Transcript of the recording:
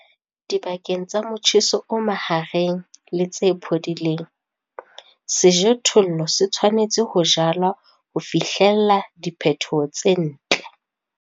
Dibakeng tsa motjheso o mahareng le tse phodileng, sejothollo se tshwanetse ho jalwa ho fihlella diphetho tse ntle.